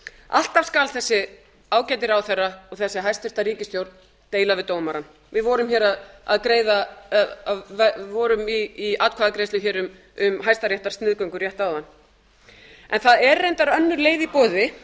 alltaf skal þessi ágæti ráðherra og þessi hæstvirt ríkisstjórn deila við dómarann við vorum í atkvæðagreiðslu hér um hæstaréttarsniðgöngu rétt áðan það er reyndar önnur leið í